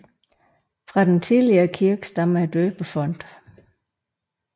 Fra den tidligere kirke stammer døbefonten